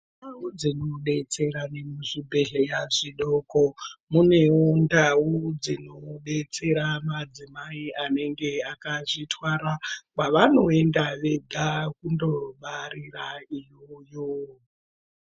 Ndau dzinodetsera nemuzvibhehleya zvidoko munewo ndau dzinodetsera madzimai anenge akazvitwara, kwavanoenda vega kundobarira iyoyo.